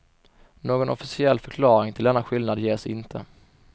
Någon officiell förklaring till denna skillnad ges inte.